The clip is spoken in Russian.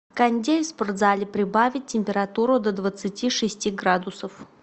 кондей в спортзале прибавить температуру до двадцати шести градусов